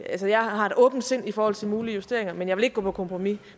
jeg har et åbent sind i forhold til mulige justeringer men jeg vil ikke gå på kompromis